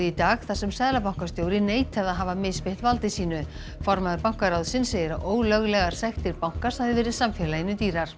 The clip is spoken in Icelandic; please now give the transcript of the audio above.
í dag þar sem seðlabankastjóri neitaði að hafa misbeitt valdi sínu formaður bankaráðsins segir að ólöglegar sektir bankans hafi verið samfélaginu dýrar